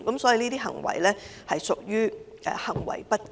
此等作為實屬行為不檢。